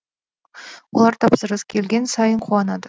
олар тапсырыс келген сайын қуанады